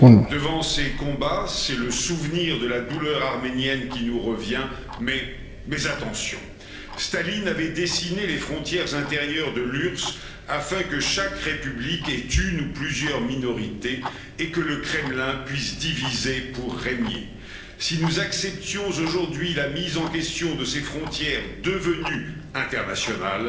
Devant ces combats, c'est le souvenir de la douleur arménienne qui nous revient, mais attention, Staline avait dessiné les frontières intérieures de l'URSS, afin que chaque République ait une ou plusieurs minorités et que le Kremlin puisse diviser pour régner. Si nous acceptions aujourd'hui la mise en question de ces frontières devenues internationales,